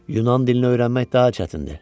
Yunan dilini öyrənmək daha çətindir.